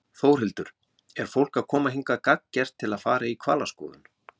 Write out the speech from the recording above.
Þórhildur: Er fólk að koma hingað gagngert til að fara í hvalaskoðun?